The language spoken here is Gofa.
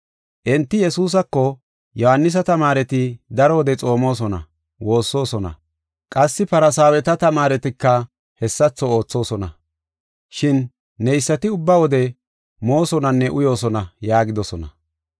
Enti Yesuusako, “Yohaanisa tamaareti daro wode xoomosona, woossosona; qassi Farsaaweta tamaaretika hessatho oothosona. Shin neysati ubba wode moosonanne uyoosona” yaagidosona.